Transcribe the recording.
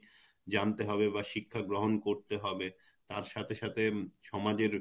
জানতে হবে বা শিক্ষা গ্রহন করতে হবে তার সাথে সাথে উম সমাজের